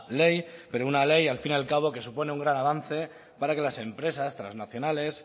ley pero una ley al fin y al cabo que supone un gran avance para que las empresas trasnacionales